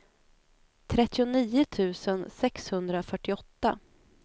trettionio tusen sexhundrafyrtioåtta